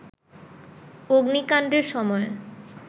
অগ্নিকাণ্ডের সময়